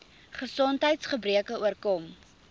gesondheids gebreke oorkom